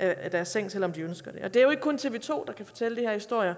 af deres seng selv om de ønsker det og det er jo ikke kun tv to der kan fortælle de her historier